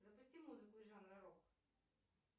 запусти музыку из жанра рок